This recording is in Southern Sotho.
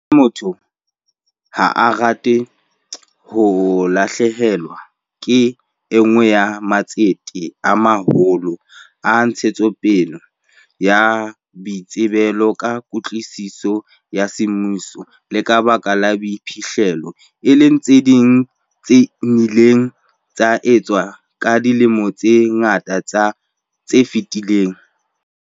Hape motho ha a rate ho lahlehelwa ke e nngwe ya matsete a maholo a ntshetsopele ya boitsebelo ka kwetliso ya semmuso le ka boiphihlelo, e leng tse nnileng tsa etswa ka dilemo tse ngata tse fetileng.